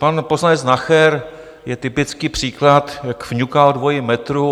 Pan poslanec Nacher je typický příklad, jak fňuká o dvojím metru.